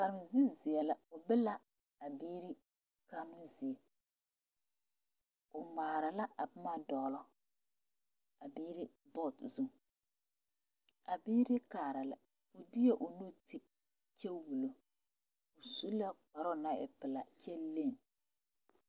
Kaarezuziɛ la o be la a biiri kannoo zie o ŋmaare la a boma dogle a biiri board zu a biiri kaara la o de la o nu te kyɛ wolu o su la kparo naŋ e pelaa kyɛ lenne.